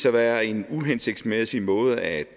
at være en uhensigtsmæssig måde at